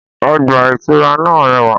Ọgbà ìtura náà rẹwà.